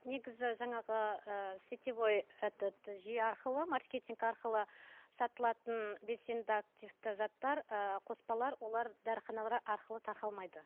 негізі жаңағы ыыы сетевой этот жүйе арқылы маркетинг арқылы сатылатын белсенді активті заттар ыыы қоспалар олар дәріханалар арқылы тарқалмайды